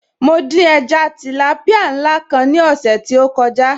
Mo dín ẹja tìlápìá ńlá kan ní ọ̀sẹ̀ tí ó kọjá